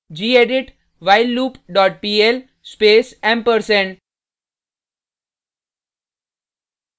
gedit whileloop dot pl space ampersand